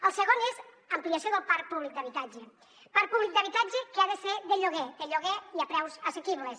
el segon és ampliació del parc públic d’habitatge parc públic d’habitatge que ha de ser de lloguer de lloguer i a preus assequibles